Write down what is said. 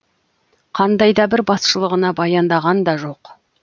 қандай да бір басшылығына баяндаған да жоқ